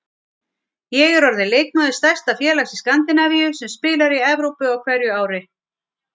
Ég er orðinn leikmaður stærsta félags í Skandinavíu, sem spilar í Evrópu á hverju ári.